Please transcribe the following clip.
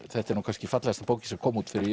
þetta er nú kannski fallegasta bókin sem kom út fyrir